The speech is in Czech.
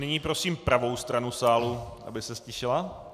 Nyní prosím pravou stranu sálu, aby se ztišila.